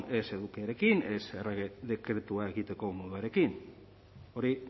ez edukiarekin ez errege dekretua egiteko moduarekin hori